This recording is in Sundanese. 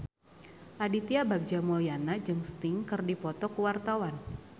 Aditya Bagja Mulyana jeung Sting keur dipoto ku wartawan